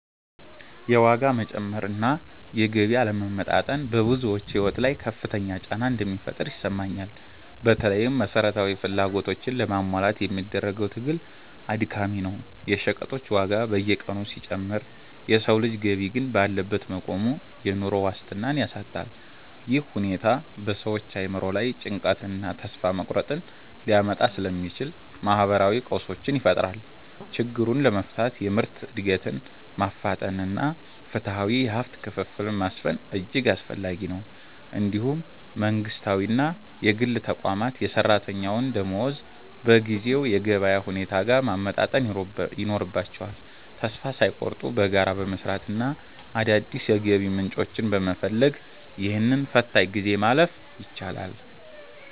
የዋጋ መጨመር እና የገቢ አለመመጣጠን በብዙዎች ሕይወት ላይ ከፍተኛ ጫና እንደሚፈጥር ይሰማኛል። በተለይም መሠረታዊ ፍላጎቶችን ለማሟላት የሚደረገው ትግል አድካሚ ነው። የሸቀጦች ዋጋ በየቀኑ ሲጨምር የሰው ልጅ ገቢ ግን ባለበት መቆሙ፣ የኑሮ ዋስትናን ያሳጣል። ይህ ሁኔታ በሰዎች አእምሮ ላይ ጭንቀትንና ተስፋ መቁረጥን ሊያመጣ ስለሚችል፣ ማኅበራዊ ቀውሶችን ይፈጥራል። ችግሩን ለመፍታት የምርት ዕድገትን ማፋጠንና ፍትሐዊ የሀብት ክፍፍልን ማስፈን እጅግ አስፈላጊ ነው። እንዲሁም መንግሥታዊና የግል ተቋማት የሠራተኛውን ደመወዝ በጊዜው የገበያ ሁኔታ ጋር ማመጣጠን ይኖርባቸዋል። ተስፋ ሳይቆርጡ በጋራ በመሥራትና አዳዲስ የገቢ ምንጮችን በመፈለግ፣ ይህንን ፈታኝ ጊዜ ማለፍ ይቻላል።